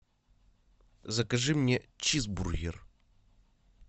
закажи мне чизбургер